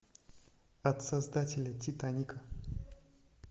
от создателей титаника